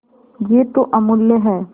यह तो अमुल्य है